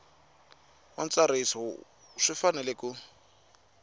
wa ntsariso swi fanele ku